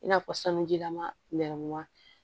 I n'a fɔ sanujilama nɛrɛmuguma